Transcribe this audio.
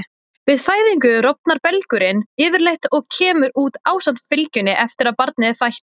Við fæðingu rofnar belgurinn yfirleitt og kemur út ásamt fylgjunni eftir að barnið er fætt.